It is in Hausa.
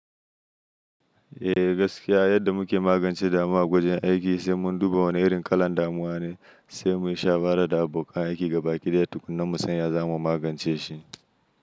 Eh gaskiya yadda muke magance damuwa a wajen aiki sai mun duba wane irin kalan damuwa ne, sai mu yi shawara da abokan aiki gaba ƙi daya tukunna mu san ya zamu magance shi.